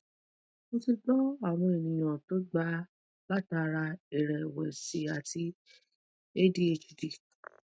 mo ti gbo awon eyan to gba latara irewesi ati adhd